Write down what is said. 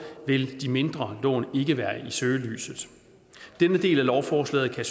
vil de mindre lån ikke være i søgelyset denne del af lovforslaget kan